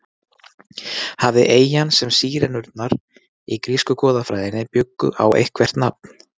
Hafði eyjan sem Sírenurnar í grísku goðafræðinni bjuggu á eitthvert nafn?